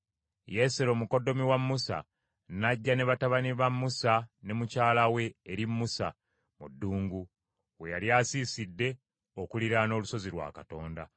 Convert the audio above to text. Yesero, mukoddomi wa Musa, n’ajja ne batabani ba Musa ne mukyala we eri Musa mu ddungu, we yali asiisidde okuliraana olusozi lwa Katonda.